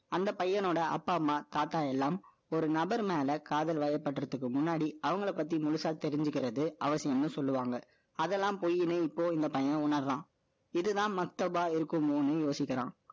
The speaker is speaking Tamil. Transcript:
அந்த பையனோட அப்பா, அம்மா, தாத்தா எல்லாம், ஒரு நபர் மேல, காதல் வயப்படுறதுக்கு முன்னாடி, அவங்களை பத்தி, முழுசா தெரிஞ்சுக்கிறது, அவசியம்ன்னு சொல்லுவாங்க. அதெல்லாம் பொய்யின்னு, இப்போ, இந்த பையன் உணர்றான். இதுதான், மஸ்தப்பா இருக்கும்னு யோசிக்கிறான்.